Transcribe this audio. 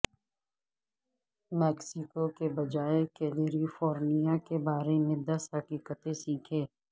Mexico کے بجا California کے بارے میں دس حقیقتیں سیکھیں